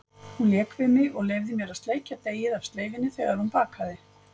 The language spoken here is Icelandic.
Hún lék við mig og leyfði mér að sleikja deigið af sleifinni þegar hún bakaði.